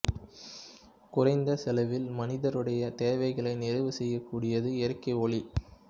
குறைந்த செலவில் மனிதருடைய தேவைகளை நிறைவு செய்யக்கூடியது இயற்கை ஒளி